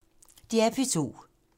DR P2